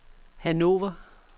Hannover